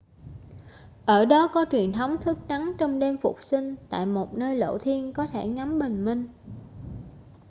ở đó có truyền thống thức trắng trong đêm phục sinh tại một nơi lộ thiên có thể ngắm bình minh